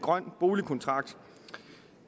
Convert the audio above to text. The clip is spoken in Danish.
grøn boligkontrakt